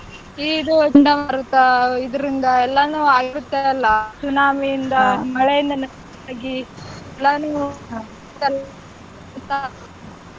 ಈ ಇದು ಚಂಡಮಾರುತ ಇದ್ರಿಂದ ಎಲ್ಲನು ಆಗುತ್ತೆ ಅಲ್ಲಾ ಸುನಾಮಿಯಿಂದ ಮಳೆಯಿಂದ ನಷ್ಟ ಆಗಿ ಎಲ್ಲನೂ .